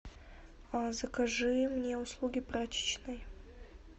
закажи мне услуги прачечной